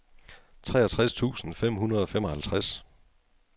treogtres tusind fem hundrede og femoghalvtreds